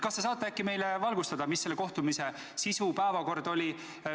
Kas te saate meid äkki valgustada, mis oli selle kohtumise sisu, päevakord?